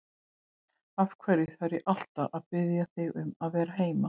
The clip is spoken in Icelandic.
Af hverju þarf ég alltaf að biðja þig um að vera heima?